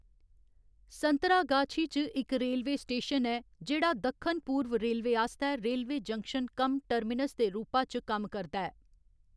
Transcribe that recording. संतरागाछी च इक railway station ऐ जेह्‌‌ड़ा दक्खन पूर्व रेलवे आस्तै रेलवे जंक्शन कम टर्मिनस दे रूपा च कम्म करदा ऐ।